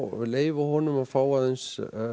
leyfa honum að fá aðeins